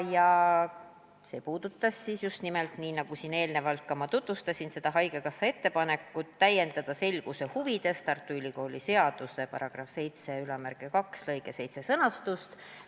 See oli just nimelt – nagu ma eelnevalt ka mainisin – haigekassa ettepanek täiendada selguse huvides Tartu Ülikooli seaduse § 72 lõike 7 sõnastust.